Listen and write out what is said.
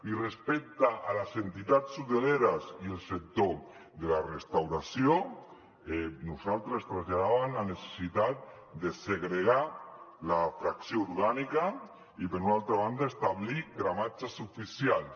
i respecte a les entitats hoteleres i al sector de la restauració nosaltres traslladàvem la necessitat de segregar la fracció orgànica i per una altra banda establir gramatges oficials